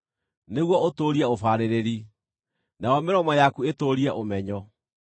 nĩguo ũtũũrie ũbaarĩrĩri, nayo mĩromo yaku ĩtũũrie ũmenyo.